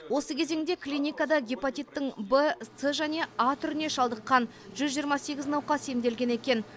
осы кезеңде клиникада гепатиттің в с және а түріне шалдыққан жүз жиырма сегіз науқас емделген екен